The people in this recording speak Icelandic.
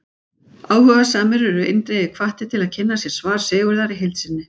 Áhugasamir eru eindregið hvattir til að kynna sér svar Sigurðar í heild sinni.